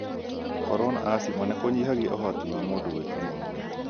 Gũkorwo na asthma nĩ kũnyihagia ũhoti wa mũndũ gwĩka maũndũ.